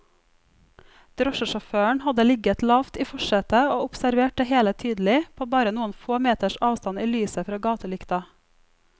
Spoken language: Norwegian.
Drosjesjåføren hadde ligget lavt i forsetet og observert det hele tydelig, på bare noen få meters avstand i lyset fra gatelykta.